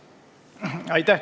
Aitäh!